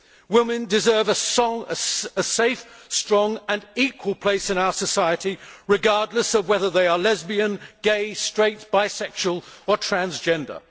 Women deserve a safe, strong and equal place in our society, regardless of whether they are lesbian, gay, straight, bisexual or transgender.